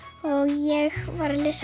ég var að lesa